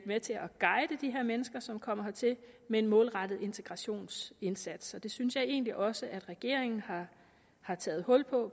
med til at guide de her mennesker som kommer hertil med en målrettet integrationsindsats og det synes jeg egentlig også at regeringen har taget hul på